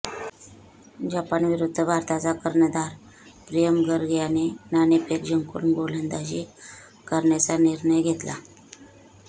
Japan विरुद्ध भारताचा कर्णधार प्रियम गर्ग याने नाणेफेक जिंकून गोलंदाजी करण्याचा निर्णय घेतला